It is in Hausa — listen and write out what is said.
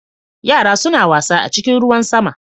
Yara suna wasa a cikin ruwan sama.